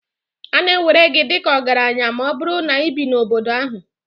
A na-ewere gị dị ka ọgaranya ma ọ bụrụ na ị bi n'obodo ahụ.